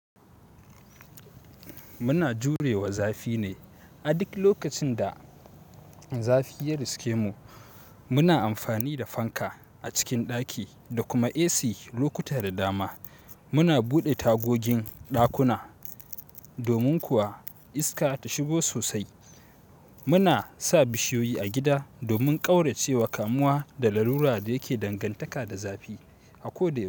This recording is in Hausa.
Muna jurewa zafi ne. A duk lokacin da zafi ya riskemu, muna amfani da fanka a cikin ɗaki da kuma AC. Lokuta da dama muna buɗe tagogin ɗakuna domin kuwa iska ta shigo sosai. Muna sa bishiyoyi a gida domin ƙaurace wa kamuwa da larura da yake dangantaka da zafi a ko da yau.